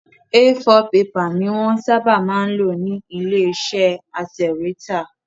A4 pepà ni wọ́n ń sábà máa ń lò nílé iṣẹ́ atẹ̀wẹ́tà